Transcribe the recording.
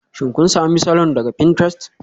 Shin kun sami salon daga pinterest?